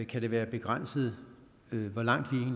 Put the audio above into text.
kan det være begrænset hvor langt